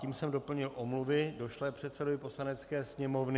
Tím jsem doplnil omluvy došlé předsedovi Poslanecké sněmovny.